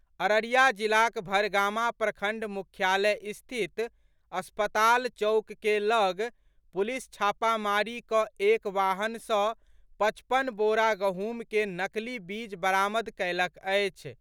अररिया जिलाक भरगामा प्रखण्ड मुख्यालय स्थित अस्पताल चौक के लग पुलिस छापामारी कऽ एक वाहन सँ पचपन बोरा गहूँम के नकली बीज बरामद कयलक अछि।